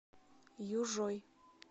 южой